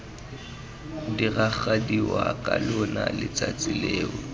diragadiwa ka lona letsatsi leo